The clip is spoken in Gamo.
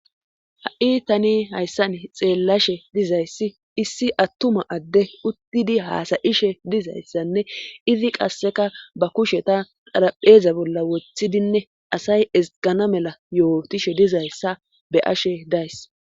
ha7i tani hayssan xeellashe dizayssi issi attuma adde uttidi haasayishe dizayssanne izi qasseka ba kusheta dharapheeza bolla woththidinne asay ezgana mela yootishe dizayssa be ashe days